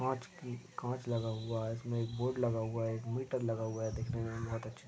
काच की काच लगा हुआ है इसमे एक बोर्ड लगा हुआ है एक मीटर लगा हुआ है। दिखने मे बहोत अच्छे --